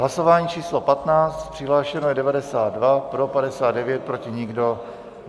Hlasování číslo 15, přihlášeno je 92, pro 59, proti nikdo.